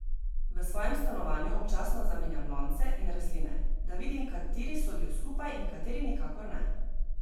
V svojem stanovanju občasno zamenjam lonce in rastline, da vidim, kateri sodijo skupaj in kateri nikakor ne.